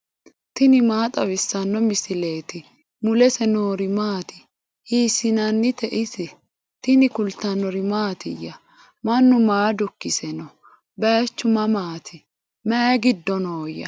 tini maa xawissanno misileeti ? mulese noori maati ? hiissinannite ise ? tini kultannori mattiya? Mannu maa dukkisse noo? Baayichu mamaatti? Mayi giddo nooya?